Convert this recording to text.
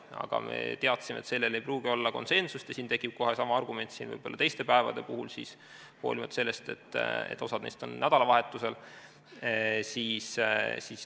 Aga me teadsime, et selles ei pruugi olla konsensust ja siis tekib sama argument kohe teiste päevade puhul, hoolimata sellest, et osa neist on nädalavahetusel.